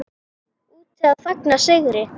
Úti að fagna sigri.